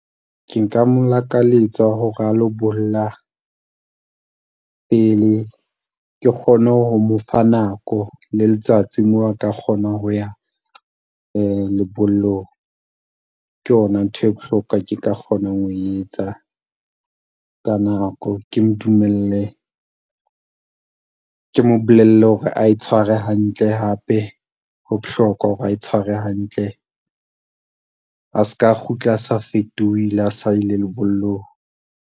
Ke nka mo lakaletsa hore a lo bolla pele. Ke kgone ho mo fa nako le letsatsi moo a ka kgonang ho ya lebollong. Ke yona ntho e bohlokwa ke ka kgonang ho e etsa ka nako. Ke mo dumelle, ke mo bolelle hore a itshware hantle hape, ho bohlokwa hore a itshware hantle. A s'ka kgutla a se a fetohile ha a sa ile lebollong.